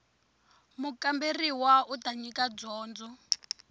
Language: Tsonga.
mukamberiwa u ta nyika dyondzo